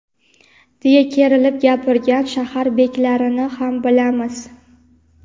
deya kerilib gapirgan shahar beklarini ham bilamiz.